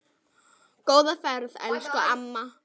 Góða ferð elsku amma.